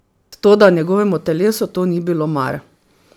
Toda njegovemu telesu to ni bilo mar.